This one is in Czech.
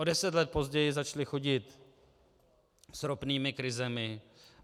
O deset let později začali chodit s ropnými krizemi.